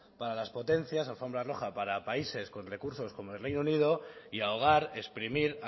para las potencias alfombra roja para países con recursos como el reino unido y ahogar exprimir